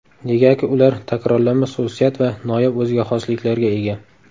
Negaki ular takrorlanmas xususiyat va noyob o‘ziga xosliklarga ega.